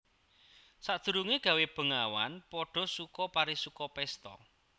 Sadurungé gawé bengawan padha suka parisuka pésta